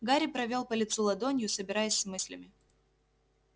гарри провёл по лицу ладонью собираясь с мыслями